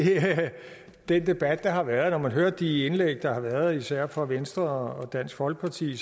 den debat der har været at når man hører de indlæg der har været især fra venstre og dansk folkeparti